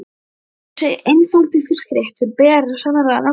Þessi einfaldi fiskréttur ber sannarlega nafn með rentu.